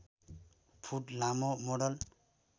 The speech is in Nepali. फुट लामो मोडल